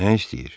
Nə istəyir?